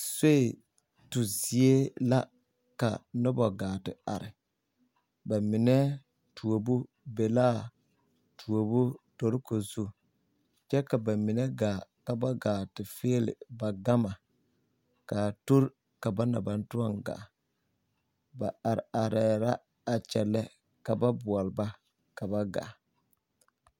Soe tu zie la ka noba gaa te are ba mine tuobo be la tuobo toroko zu kyɛ ka ba mine gaa ka gaa fiili ba gama ka ba na baŋ toɔ gaa ba are areɛɛ la kyɛnlɛ ka ba boɔle bana ba gaa.